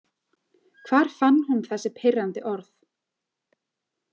Hvar fann hún þessi pirrandi orð?